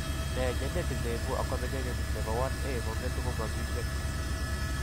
Ne genetic ne ibu achondrogenesis ne po 1A kong'etu komaking'en.